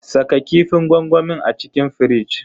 Saka kifin gwangwamin a cikin firij.